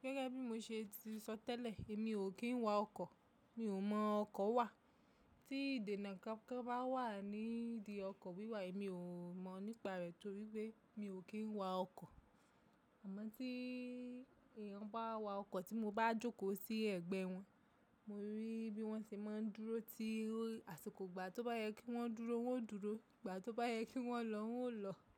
Gẹ́gẹ́ bí mo ṣe ti sọ tẹ́lẹ̀, èmi ò kí ń wa ọkọ̀, mi ò mọ ọkọ̀ wà. Tí ìdènà kankan bá wà ní ìdí ọkọ̀ wíwà, èmi ò mọ̀ nípa rẹ̀ torí pé mi ò kí ń wa ọkọ̀. Àmọ́ tí èèyàn bá wa ọkọ̀ tí mo bá jókòó sí ẹ̀gbẹ́ wọn, mo rí bí wọ́n ṣe máa ń dúró tí àsìkò gbà tó bá yẹ kí wọ́n dúró, wọ́n ó dúró; ìgbà tó bá yẹ kí wọ́n lọ, wọ́n ó lọ.